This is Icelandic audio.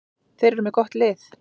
Þeir eru með gott lið.